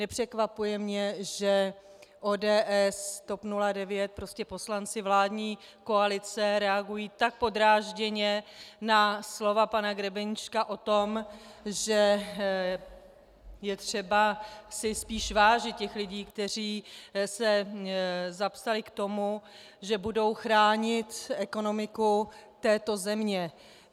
Nepřekvapuje mě, že ODS, TOP 09, prostě poslanci vládní koalice, reagují tak podrážděně na slova pana Grebeníčka o tom, že je třeba si spíš vážit těch lidí, kteří se zapsali k tomu, že budou chránit ekonomiku této země.